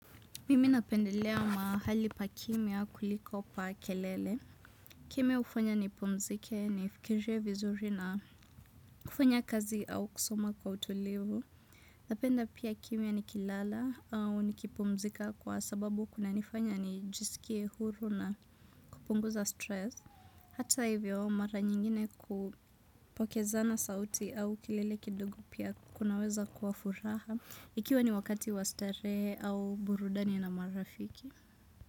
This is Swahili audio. Mimi napendelea mahali pa kimya kuliko pa kelele. Kimya hufanya nipumzike nifikirie vizuri na kufanya kazi au kusoma kwa utulivu. Napenda pia kimya nikilala au nikipumzika kwa sababu kunanifanya nijisikie huru na kupunguza stress. Hata hivyo mara nyingine kupokezana sauti au kilele kidogu pia kunaweza kuwa furaha. Ikiwa ni wakati wastarehe au burudani na marafiki. Muzika.